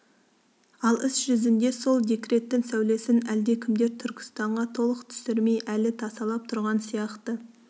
ал іс жүзінде сол декреттің сәулесін әлдекімдер түркістанға толық түсірмей әлі тасалап тұрған сияқты